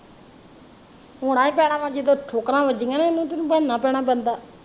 ਹੋਣਾ ਈ ਪੈਣਾ ਵਾ ਜਦੋਂ ਠੋਕਰਾ ਵੱਜੀਆਂ ਨਾ ਉਹਨੂੰ ਫਿਰ ਬਣਨਾ ਪੈਣਾ ਬੰਦਾ